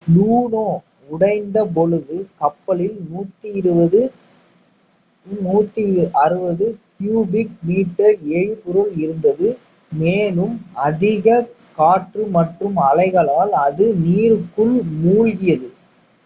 லூனோ உடைந்தபொழுது கப்பலில் 120-160 cubic metre எரிபொருள் இருந்தது மேலும் அதிக காற்று மற்றும் அலைகளால் அது நீருக்குள் மூழ்கியது